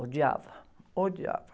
Odiava, odiava.